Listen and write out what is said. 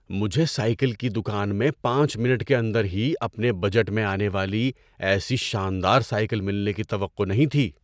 مجھے سائیکل کی دکان میں پانچ منٹ کے اندر ہی اپنے بجٹ میں آنے والی ایسی شاندار سائیکل ملنے کی توقع نہیں تھی۔